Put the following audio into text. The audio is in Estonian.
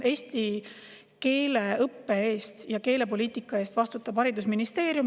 Eesti keele õppe ja keelepoliitika eest vastutab haridusministeerium.